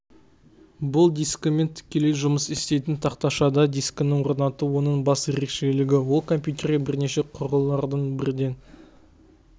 бұл дискімен тікелей жұмыс істейтін тақшада дискіні орнату оның басты ерекшелігі ол компьютерге бірнеше құрылғылардың бірден